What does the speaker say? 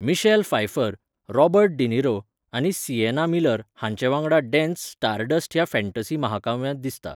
Michelle Pfeiffer, Robert De Niro आनी Sienna Miller हांचे वांगडा डेन्स, स्टारडस्ट ह्या फँटॅसी महाकाव्यांत दिसता.